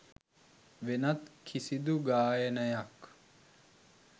වෙනත් කිසිදු ගායනයක්